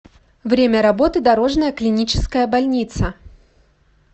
время работы дорожная клиническая больница